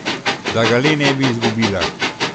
Da ga le ne bi izgubila!